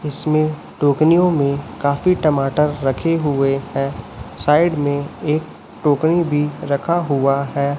इसमें टोकनियों में काफी टमाटर रखे हुए हैं साइड में एक टोकनी भी रखा हुआ है।